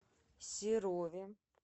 серове